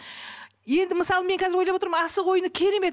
енді мысалы мен қазір мен ойлап отырмын асық ойыны керемет